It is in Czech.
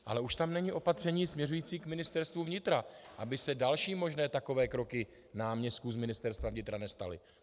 Ale už tam není opatření směřující k Ministerstvu vnitra, aby se další možné takové kroky náměstků z Ministerstva vnitra nestaly.